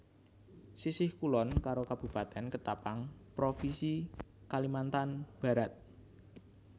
Sisih kulon karo Kabupatèn Ketapang Propinsi Kalimantan Barat